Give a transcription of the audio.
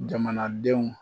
Jamanadenw ma